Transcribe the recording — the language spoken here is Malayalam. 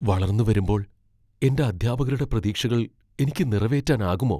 വളർന്നുവരുമ്പോൾ, എന്റെ അധ്യാപകരുടെ പ്രതീക്ഷകൾ എനിക്ക് നിറവേറ്റാനാകുമോ?